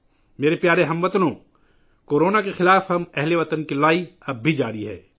میرے پیارے ہم وطنو، ہمارے ہم وطنوں کی کورونا کے خلاف جنگ ابھی بھی جاری ہے